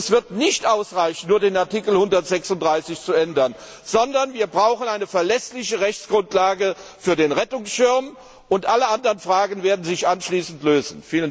Es wird nicht ausreichen, nur den Artikel 136 zu ändern, sondern wir brauchen eine verlässliche Rechtsgrundlage für den Rettungsschirm, und alle anderen Fragen werden sich anschließend lösen.